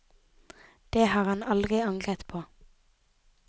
Det har han aldri angret på.